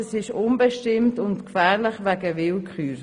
Das ist unbestimmt und gefährlich wegen Willkür.